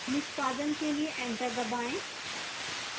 निष्पादन के लिए enter दबाएं